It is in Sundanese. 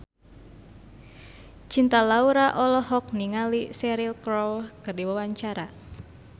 Cinta Laura olohok ningali Cheryl Crow keur diwawancara